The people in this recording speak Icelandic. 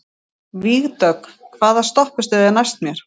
Vígdögg, hvaða stoppistöð er næst mér?